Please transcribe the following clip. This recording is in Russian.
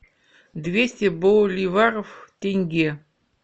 двести боливаров в тенге